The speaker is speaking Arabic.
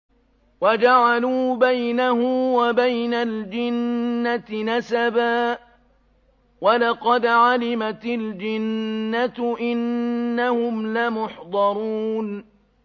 وَجَعَلُوا بَيْنَهُ وَبَيْنَ الْجِنَّةِ نَسَبًا ۚ وَلَقَدْ عَلِمَتِ الْجِنَّةُ إِنَّهُمْ لَمُحْضَرُونَ